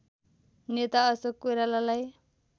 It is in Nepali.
नेता अशोक कोइरालालाई